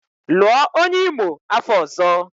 Lụọ onye Imo afọ ọzọ!